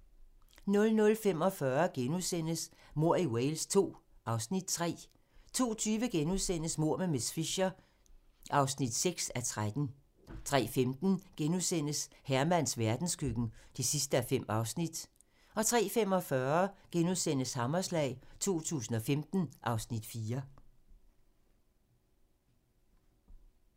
00:45: Mord i Wales II (Afs. 3)* 02:20: Mord med miss Fisher (6:13)* 03:15: Hermans verdenskøkken (5:5)* 03:45: Hammerslag 2015 (Afs. 4)*